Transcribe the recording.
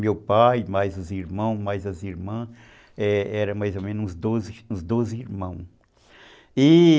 Meu pai, mais os irmãos, mais as irmãs, eram mais ou menos uns doze, doze irmãos, e